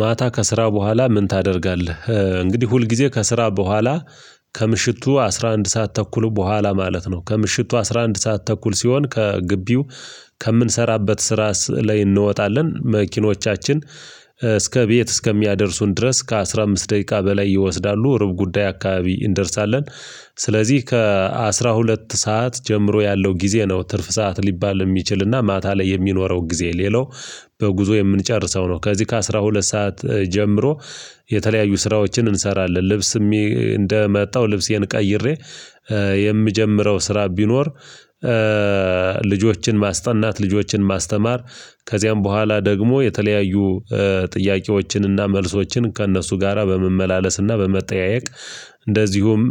ማታ ከስራ በኋላ ምን ታደርጋለህ? እንግዲህ ሁልጊዜ ከስራ በኋላ ከምሽቱ አስራ አንድ ሰዓት ተኩሉ በኋላ ማለት ነው። ከምሽቱ አስራ አንድ ሰዓት ተኩል ሲሆን ከግቢው ከምንሰራበት ስራ ላይ እንወጣለን። መኪኖቻችን እስከ ቤት እስከሚያደርሱን ድረስ ከአስራ አምስት ደቂቃ በላይ ይወስዳሉ ርብ ጉዳይ አካባቢ እንደርሳለን። ስለዚህ ከአስራ ሁለት ሰዓት ጀምሮ ያለው ጊዜ ነው ትርፍ ሰዓት ሊባል የሚችልና ማታ ላይ የሚኖረው ጊዜ ሌለው። በጉዞ የምንጨርሰው ነው። ከዚህ ከአስራ ሁለት ሰዓት ጀምሮ የተለያዩ ስራዎችን እንሰራለን። ልብስ እንደመጣው ልብሴን ቀይሬ የምጀምረው ስራ ቢኖር። ልጆችን ማስጠናት ልጆችን ማስተማር። ከዚያም በኋላ ደግሞ የተለያዩ ጥያቄዎችንና መልሶችን ከእነሱ ጋራ በመመላለስና በመጠያየቅ። እንደዚሁም